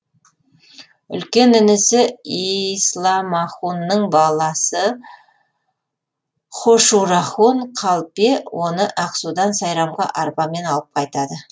үлкен інісі исламахунның баласы һошурахун қалпе оны ақсудан сайрамға арбамен алып қайтады